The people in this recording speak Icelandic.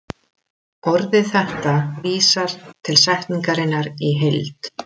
Orðið þetta vísar til setningarinnar í heild.